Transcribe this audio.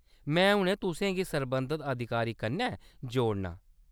में हुनै तुसें गी सरबंधत अधिकारी कन्नै जोड़ना।